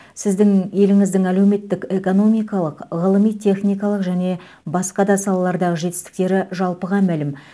сіздің еліңіздің әлеуметтік экономикалық ғылыми техникалық және басқа да салалардағы жетістіктері жалпыға мәлім